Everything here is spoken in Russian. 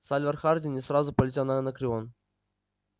сальвор хардин не сразу полетел на анакреон